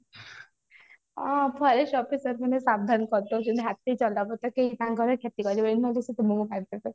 ହଁ forest officer ମାନେ ସାବଧାନ କରି ଦେଉଛନ୍ତି ହାତୀ ଚଲା ପଥ କେହି ତାଙ୍କର କ୍ଷ୍ଯାତି କରିବେନି ନହେଲେ ସେ ତମକୁ ମାରିଦେବେ